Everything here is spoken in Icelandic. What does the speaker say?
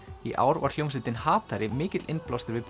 í ár var hljómsveitin mikill innblástur við